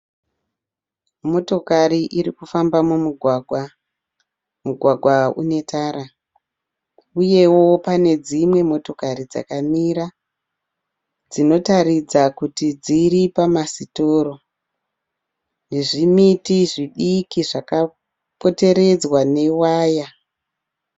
Motokari irikufamba mumugwagwa. Mugwagwa une tara. Uyewo pane dzimwe motokari dzakamira dzinotaridza kuti dziripamasitoro. Nezvimiti zvidiki zvakapoteredzwa newaya.